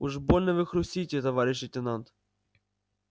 уж больно вы хрустите товарищ лейтенант